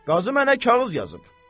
Qazı mənə kağız yazıb.